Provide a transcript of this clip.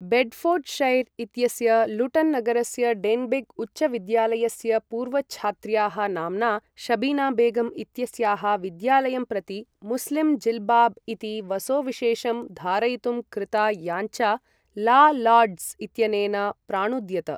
Bedfordshire इत्यस्य Luton नगरस्य Denbigh उच्चविद्यालयस्य पूर्वछात्र्याः नाम्ना शबीना बेगम् इत्यस्याः विद्यालयं प्रति मुस्लिम् जिल्बाब् इति वसोविशेषं धारयितुं कृता याच्ञा ला लार्ड्स् इत्यनेन प्राणुद्यत।